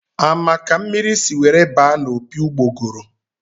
A ma ka mmiri si were baa n' opi ugbogoro?